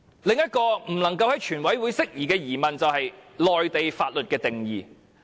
另一個不能夠在全體委員會審議階段釋疑的疑問，就是內地法律的定義。